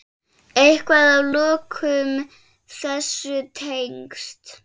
Eitthvað að lokum þessu tengt?